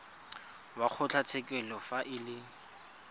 wa kgotlatshekelo fa e le